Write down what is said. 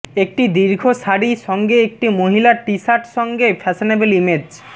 একটি দীর্ঘ শাড়ি সঙ্গে একটি মহিলা টি শার্ট সঙ্গে ফ্যাশনেবল ইমেজ